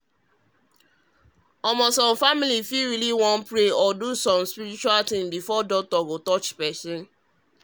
i mean say some families fit really wan pray or do small spiritual things before doctor touch person.